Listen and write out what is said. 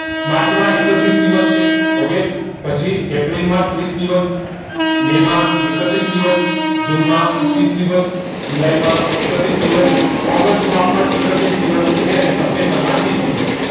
March માં એકત્રીસ દિવસ છે ઓકે પછી એપ્રિલ માં ત્રીસ દિવસ માય માં એકત્રીસ દિવસ જૂને માં ત્રીસ દિવસ જુલાઈ માં એકત્રીસ દિવસ ઓગસ્ત માં પણ એકત્રીસ દિવસ okay અને સેપેત્મ્બર માં ત્રીસ દિવસ